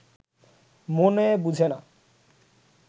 মনে বুঝে না